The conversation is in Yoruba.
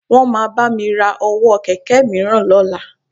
Wọ́n máa bá mi ra ọwọ́ kẹ̀kẹ́ mìíràn lọ́la